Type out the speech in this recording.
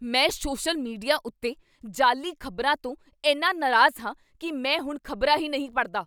ਮੈਂ social media ਉੱਤੇ ਜਾਅਲੀ ਖ਼ਬਰਾਂ ਤੋਂ ਇੰਨਾ ਨਾਰਾਜ਼ ਹਾਂ ਕੀ ਮੈਂ ਹੁਣ ਖ਼ਬਰਾਂ ਹੀ ਨਹੀਂ ਪੜ੍ਹਦਾ।